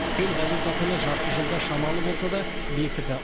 төл валюта құны жарты жылда шамалы болса да бекіді